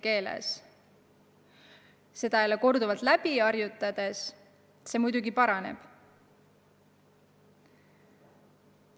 Aga seda korduvalt läbi harjutades asi muidugi paraneb.